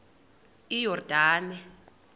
iyordane